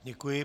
Děkuji.